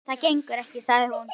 Nei, það gengur ekki, sagði hún.